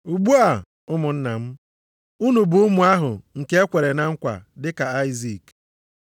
Ugbu a, ụmụnna m, unu bụ ụmụ ahụ nke e kwere na nkwa, dị ka Aịzik.